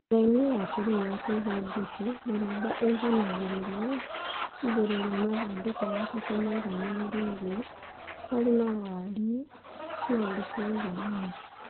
Njĩra-inĩ ya kĩĩrĩu ya kũiga njukĩ, mĩramba ĩiganagĩrĩrwo igũrũ rĩa mathandũkũ matatũ maiganĩrĩirwo marĩ na wariĩ na ũriku wũiganaine